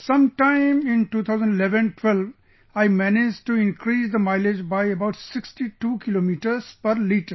Sometime in 201112, I managed to increase the mileage by about 62 kilometres per liter